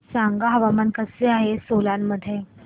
सांगा हवामान कसे आहे सोलान मध्ये